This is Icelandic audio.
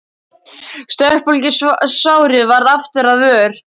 Stokkbólgið sárið varð aftur að vör.